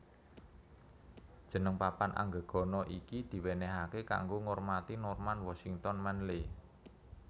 Jeneng papan anggegana iki diwenehake kanggo ngormati Norman Washington Manley